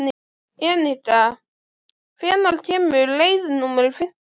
Enika, hvenær kemur leið númer fimmtíu?